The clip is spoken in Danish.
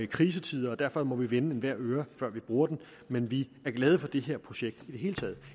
krisetider og derfor må vi vende hver en øre før vi bruger den men vi er glade for det her projekt i det hele taget